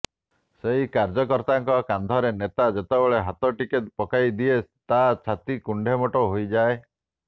ସେହି କାର୍ଯ୍ୟକର୍ତ୍ତାଙ୍କ କାନ୍ଧରେ ନେତା ଯେତେବେଳେ ହାତଟିକେ ପକାଇ ଦିଏ ତା ଛାତି କୁଣ୍ଡେ ମୋଟ ହୋଇଯାଏ